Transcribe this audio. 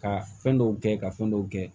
Ka fɛn dɔw kɛ ka fɛn dɔw kɛ